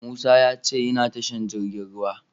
Musa ya ce yana tashar jirgin ruwa.